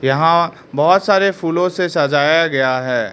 यहां बहोत सारे फूलों से सजाया गया है।